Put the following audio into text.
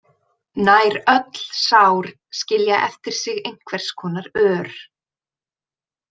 Nær öll sár skilja eftir sig einhvers konar ör.